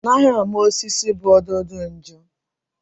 Anaghị ama osisi bu ododo nju.